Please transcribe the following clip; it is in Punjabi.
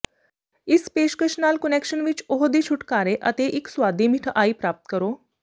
ਇਸ ਪੇਸ਼ਕਸ਼ ਨਾਲ ਕੁਨੈਕਸ਼ਨ ਵਿੱਚ ਉਹ ਦੇ ਛੁਟਕਾਰੇ ਅਤੇ ਇੱਕ ਸੁਆਦੀ ਮਿਠਆਈ ਪ੍ਰਾਪਤ ਕਰੋ